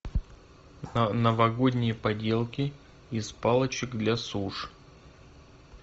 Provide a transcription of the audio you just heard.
новогодние поделки из палочек для суш